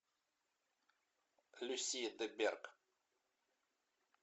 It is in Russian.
люсия де берг